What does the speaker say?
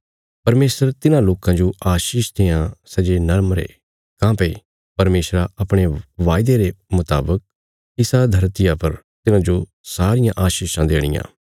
परमेशर तिन्हां लोकां जो आशीष देआं सै जे नम्र ये काँह्भई परमेशरा अपणे वायदे रे मुतावक इसा धरतिया पर तिन्हांजो सारियां आशीषां देणियां